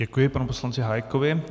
Děkuji panu poslanci Hájkovi.